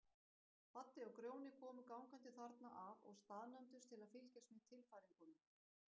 Baddi og Grjóni komu gangandi þarna að og staðnæmdust til að fylgjast með tilfæringunum.